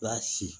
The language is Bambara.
I b'a si